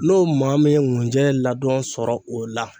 N'o maa min ye ŋunjɛ ladɔn sɔrɔ o la